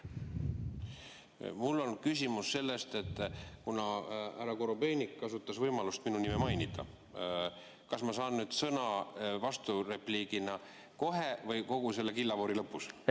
Mul on küsimus selle kohta, et kuna härra Korobeinik kasutas võimalust minu nime mainida, kas ma saan nüüd sõna vasturepliigina kohe või kogu selle killavoori lõpus?